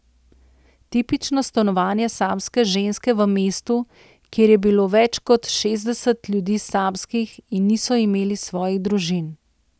Tipično stanovanje samske ženske v mestu, kjer je bilo več kot šestdeset ljudi samskih in niso imeli svojih družin.